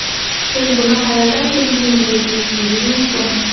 Siz buni qayerdan bildingiz deyishingiz mumkin.